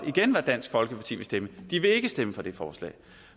hvad dansk folkeparti vil stemme de vil ikke stemme for det forslag